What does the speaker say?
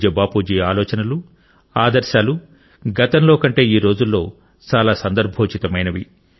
పూజ్య బాపూజీ ఆలోచనలు ఆదర్శాలు గతంలో కంటే ఈ రోజుల్లో చాలా సందర్భోచితమైనవి